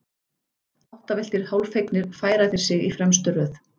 Áttavilltir, hálffegnir, færa þeir sig í fremstu röð.